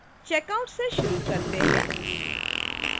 checkout से शुरू करते हैं